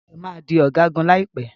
Dayo má dì Ọ̀gágun láìpé.